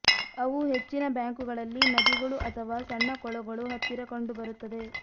ಅವು ಹೆಚ್ಚಿನ ಬ್ಯಾಂಕುಗಳಲ್ಲಿ ನದಿಗಳು ಅಥವಾ ಸಣ್ಣ ಕೊಳಗಳು ಹತ್ತಿರ ಕಂಡುಬರುತ್ತದೆ